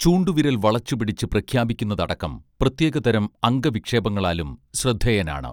ചൂണ്ടുവിരൽ വളച്ചു പിടിച്ച് പ്രഖ്യാപിക്കുന്നതടക്കം പ്രത്യേകതരം അംഗവിക്ഷേപങ്ങളാലും ശ്രദ്ധേയനാണ്